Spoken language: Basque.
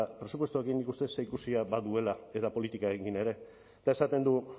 presupuestoekin nik uste dut zerikusia baduela eta politikarekin ere eta esaten du